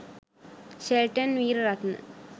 Shelton Weeraratne..